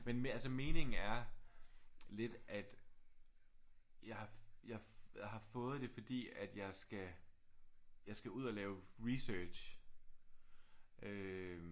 Men altså meningen er lidt at jeg har jeg har fået det fordi at jeg skal jeg skal ud at lave research øh